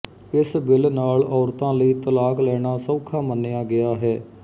ਇਸ ਬਿੱਲ ਨਾਲ ਔਰਤਾਂ ਲਈ ਤਲਾਕ ਲੈਣਾ ਸੌਖਾ ਮੰਨਿਆ ਗਿਆ ਹੈ